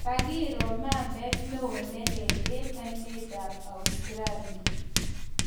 Kagiro mambeet neo neleel eng aineet ap Australi.